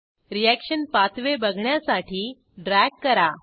reaction pathway बघण्यासाठी drag करा